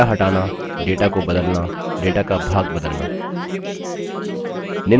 data हटाना data को बदलना data का भाग बदलना